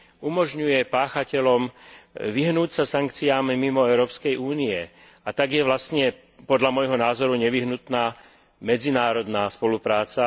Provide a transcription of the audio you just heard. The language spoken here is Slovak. umožňuje páchateľom vyhnúť sa sankciám mimo Európskej únie, a tak je vlastne podľa môjho názoru nevyhnutná medzinárodná spolupráca.